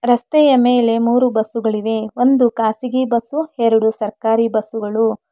ರಸ್ತೆಯ ಮೇಲೆ ಮೂರು ಬಸ್ಸುಗಳಿವೆ ಒಂದು ಖಾಸಗಿ ಬಸ್ಸು ಎರಡು ಸರ್ಕಾರಿ ಬಸ್ಸುಗಳು.